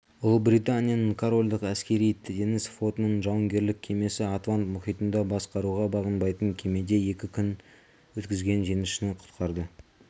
ұлыбританияның королдік әскери-теңіз флотының жауынгерлік кемесі атлант мұхитында басқаруға бағынбайтын кемеде екі күнін өткізген теңізшіні құтқарды